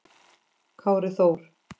Kári Þór.